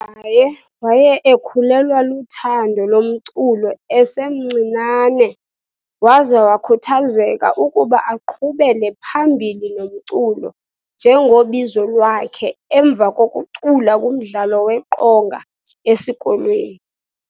UGaye waya ekhulelwa luthando lomculo esemncinane waza wakhuthazeka ukuba aqhubele phambili nomculo njengobizo lwakhe emva kokucula kumdlalo weqonga esikolweni.